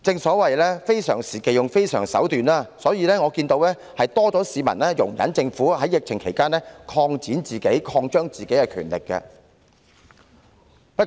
所謂非常時期要用非常手段，所以可見到市民對政府在疫情期間擴展、擴張其權力，確實多了一些容忍。